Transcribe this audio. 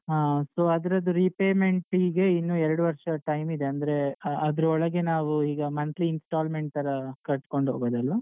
ಹಾ so ಅದ್ರದ್ದು repayment ಗೆ ಇನ್ನು ಎರಡು ವರ್ಷ time ಇದೆ ಅಂದ್ರೆ ಆ ಅದ್ರೊಳಗೆ ನಾವೂ ಈಗ monthly installment ತರ ಕಟ್ಕೊಂಡು ಹೋಗೋದದು.